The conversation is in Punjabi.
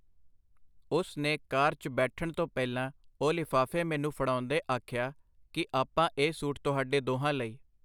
ਉਸ ਨੇ ਕਾਰ 'ਚ ਬੈਠਣ ਤੋਂ ਪਹਿਲਾਂ ਉਹ ਲਿਫ਼ਾਫ਼ੇ ਮੈਨੂੰ ਫੜਾਉਂਦੇ ਆਖਿਆ ਕਿ ਆਪਾ ਇਹ ਸੂਟ ਤੁਹਾਡੇ ਦੋਹਾਂ ਲਈ.